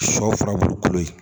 Sɔ furabulu kolo ye